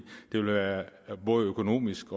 både økonomisk